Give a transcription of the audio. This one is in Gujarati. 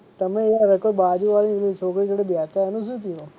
તમે યાર કોઈ બાજુવાળી છોકરી જોડે બેસતા એનું શું થયું?